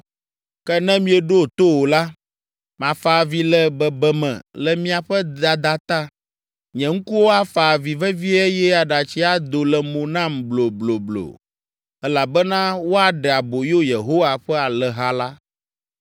Ke ne mieɖo to o la, mafa avi le bebeme le miaƒe dada ta. Nye ŋkuwo afa avi vevie eye aɖatsi ado le mo nam blobloblo elabena woaɖe aboyo Yehowa ƒe alẽha la.